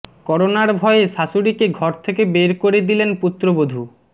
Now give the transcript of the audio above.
করোনার ভয়ে শাশুড়িকে ঘর থেকে বের করে দিলেন পুত্রবধূ